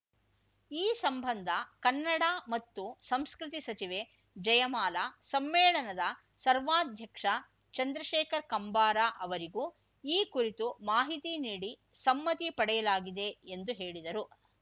ಈ ಸಂಬಂಧ ಕನ್ನಡ ಮತ್ತು ಸಂಸ್ಕೃತಿ ಸಚಿವೆ ಜಯಮಾಲಾ ಸಮ್ಮೇಳನದ ಸರ್ವಾಧ್ಯಕ್ಷ ಚಂದ್ರಶೇಖರ್ ಕಂಬಾರ ಅವರಿಗೂ ಈ ಕುರಿತು ಮಾಹಿತಿ ನೀಡಿ ಸಮ್ಮತಿ ಪಡೆಯಲಾಗಿದೆ ಎಂದು ಹೇಳಿದರು